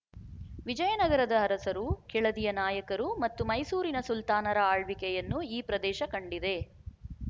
ವಿಜಯನಗರದ ಅರಸರು ಕೆಳದಿಯ ನಾಯಕರು ಮತ್ತು ಮೈಸೂರಿನ ಸುಲ್ತಾನರ ಆಳ್ವಿಕೆಯನ್ನು ಈ ಪ್ರದೇಶ ಕಂಡಿದೆ